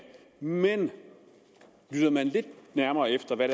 men lytter man lidt nærmere efter hvad